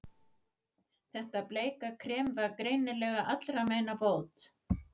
Þetta bleika krem var greinilega allra meina bót.